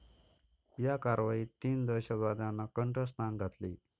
या कारवाईत तीन दहशतवाद्यांना कंठस्नान घातले.